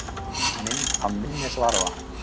Mynd af minnisvarða.